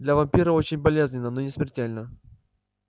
для вампира очень болезненно но не смертельно